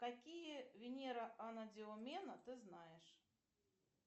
какие венера анадиомена ты знаешь